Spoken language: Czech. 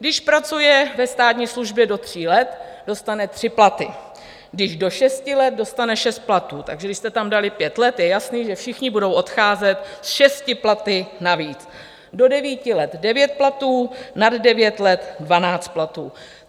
Když pracuje ve státní službě do tří let, dostane tři platy, když do šesti let, dostane šest platů - takže když jste tam dali pět let, je jasné, že všichni budou odcházet se šesti platy navíc - do devíti let devět platů, nad devět let dvanáct platů.